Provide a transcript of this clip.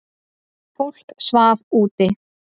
Fólk svaf úti.